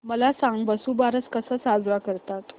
मला सांग वसुबारस कसा साजरा करतात